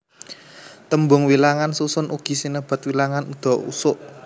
Tembung wilangan susun ugi sinebat wilangan undha usuk